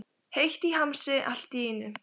Heitt í hamsi allt í einu.